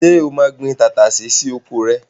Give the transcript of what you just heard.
Ṣé o máa gbin tàtàṣé sí oko rẹ?